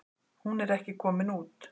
Hún er ekki komin út.